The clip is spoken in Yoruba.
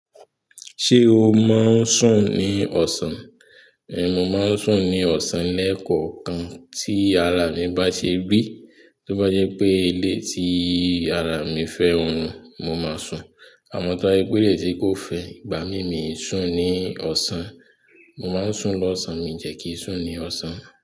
Ṣé o máa ń sùn ní ọ̀sán? Èh mo máa ń sùn ní ọ̀san lẹ́ẹ̀kọ̀kan tí ara mi bá ṣe rí. Tó bá jẹ́ pé bí tii ara mi fẹ́ orun, mo máa hun àmọ́ tó bá jẹ́ ara mi o fẹ́, igbamii mi ò ní sùn ní ọ̀sán. Mo máa ń sùn lọ́sàn-án, mi dẹ̀ kí ń sùn ní ọ̀sán.